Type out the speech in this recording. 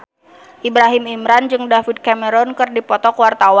Ibrahim Imran jeung David Cameron keur dipoto ku wartawan